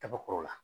Kaba kɔrɔ la